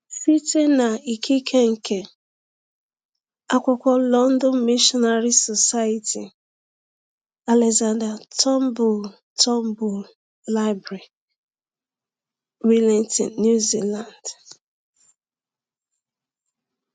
Site na ikike nke akwụkwọ London Missionary Society, Alexander Turnbull Turnbull Library, Wellington, New Zealand.